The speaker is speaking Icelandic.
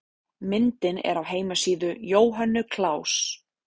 Myndin er af heimasíðu Jóhönnu Klaus.